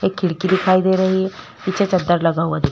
एक खिड़की दिखाई दे रही है पीछे चद्दर लगा हुआ दिख--